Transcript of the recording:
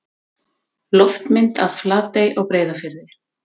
Loftmynd af Flatey á Breiðafirði.